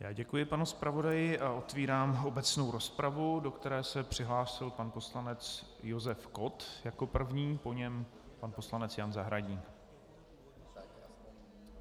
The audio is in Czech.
Já děkuji panu zpravodaji a otevírám obecnou rozpravu, do které se přihlásil pan poslanec Josef Kott jako první, po něm pan poslanec Jan Zahradník.